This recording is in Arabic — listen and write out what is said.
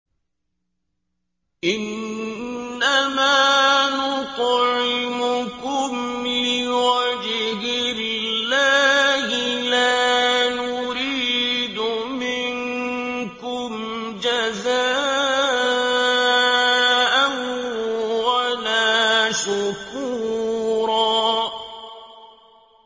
إِنَّمَا نُطْعِمُكُمْ لِوَجْهِ اللَّهِ لَا نُرِيدُ مِنكُمْ جَزَاءً وَلَا شُكُورًا